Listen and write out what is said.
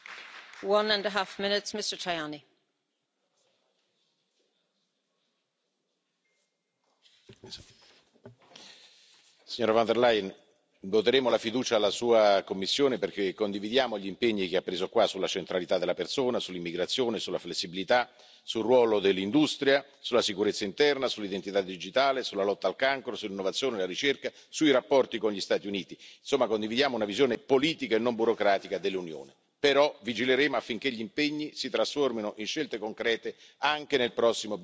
Signora Presidente, onorevoli colleghi, signora von der Leyen, voteremo la fiducia alla sua Commissione perché condividiamo gli impegni che ha preso qua sulla centralità della persona, sull'immigrazione, sulla flessibilità, sul ruolo dell'industria, sulla sicurezza interna, sull'identità digitale, sulla lotta al cancro, sull'innovazione e la ricerca, sui rapporti con gli Stati Uniti. Insomma, condividiamo una visione politica e non burocratica dell'Unione. Però vigileremo affinché gli impegni si trasformino in scelte concrete, anche nel prossimo bilancio dell'Unione.